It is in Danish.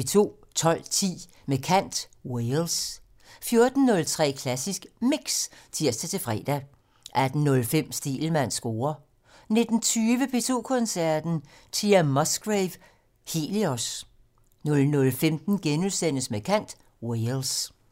12:15: Med kant - Wales 14:03: Klassisk Mix (tir-fre) 18:05: Stegelmanns score 19:20: P2 Koncerten - Thea Musgrave: Helios 00:15: Med kant - Wales *